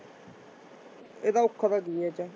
ਇਹਦਾ ਔਖਾ ਤਾਂ ਕੀ ਹੈ ਇਹ ਚ।